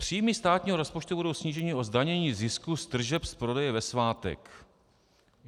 Příjmy státního rozpočtu budou sníženy o zdanění zisku z tržeb z prodeje ve svátek.